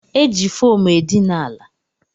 E ji fomu edina ala